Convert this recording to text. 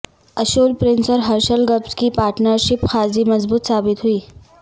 Ashwell Prince اور Herschelle Gibbs کی partnership خاصی مضبوط ثابت ہوئی